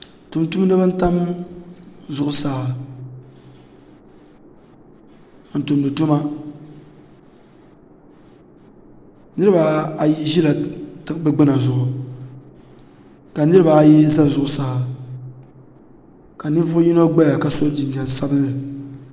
Tumtumdiba n tam zuɣusaa n tumdi tuma niriba ayi zila bɛ gbina zuɣu ka niriba ayi za zuɣusaa ka ninvuɣu yino gbaya ka so jinjiɛm sabinli.